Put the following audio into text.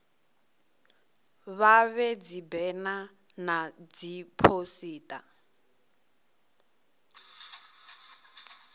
vha vhee dzibena na dziphosita